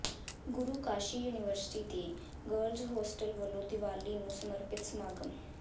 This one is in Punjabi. ਗੁਰੂ ਕਾਸ਼ੀ ਯੂਨੀਵਰਸਿਟੀ ਦੇ ਗਰਲਜ਼ ਹੋਸਟਲ ਵਲੋਂ ਦੀਵਾਲੀ ਨੂੰ ਸਮਰਪਿਤ ਸਮਾਗਮ